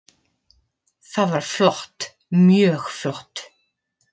Það var flott, mjög flott.